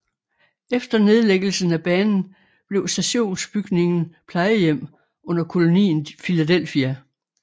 Efter nedlæggelsen af banen blev stationsbygningen plejehjem under Kolonien Filadelfia